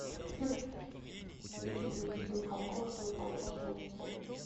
никита михалков что то там про солнце